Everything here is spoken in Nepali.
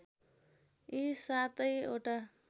यी सातै वटा